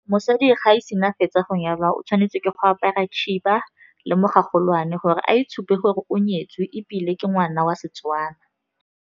Mosadi ga e sena fetsa go nyalwa o tshwanetse ke go apara khiba le mogagolwane, gore a itshupa gore o nyetswe ebile ke ngwana wa Setwana.